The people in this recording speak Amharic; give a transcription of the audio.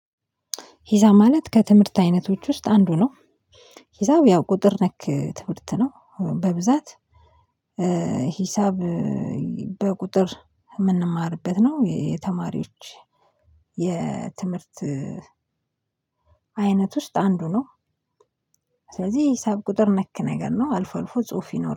ሂሳብ ማለት ከትምህርት አይነቶች ውስጥ አንዱ ነው። ሂሳብ ያው ቁጥር ነክ ትምህርት ነው። በብዛት ሂሳብ በቁጥር የምንማርበት ነው። የተማሪዎች የትምህርት አይነት ውስጥ አንዱ ነው። ስለዚህ ሂሳብ ቁጥር ነክ ነገር ነው። አልፎ አልፎ ጽሁፍ ይኖረዋል።